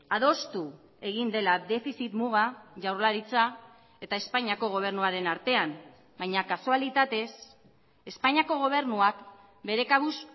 adostu egin dela defizit muga jaurlaritza eta espainiako gobernuaren artean baina kasualitatez espainiako gobernuak bere kabuz